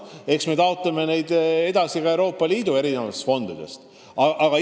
Eks me taotleme neid summasid Euroopa Liidu fondidest veelgi.